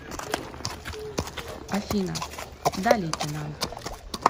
афина да лейтенант